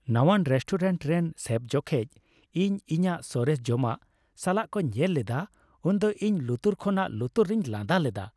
ᱱᱟᱶᱟᱱ restaurant ᱨᱮᱱ chef ᱡᱚᱠᱷᱮᱡ ᱤᱧ ᱤᱧᱟᱹᱜ ᱥᱚᱨᱮᱥ ᱡᱚᱢᱟᱜ ᱥᱟᱞᱟᱜ ᱠᱚ ᱧᱮᱞ ᱞᱮᱫᱟ, ᱩᱱ ᱫᱚ ᱤᱧ ᱞᱩᱛᱩᱨ ᱠᱷᱚᱱᱟᱜ ᱞᱩᱛᱩᱨ ᱨᱤᱧ ᱞᱟᱸᱫᱟ ᱞᱮᱫᱟ ᱾